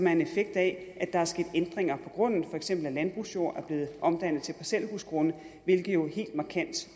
en effekt af at der er sket ændringer på grunden for eksempel at landbrugsjord er blevet omdannet til parcelhusgrunde hvilket jo helt markant